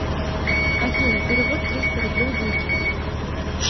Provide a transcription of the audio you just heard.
афина перевод триста рублей вике